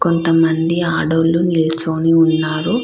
కొంత మంది ఆడోళ్ళు నిల్చొని ఉన్నారు.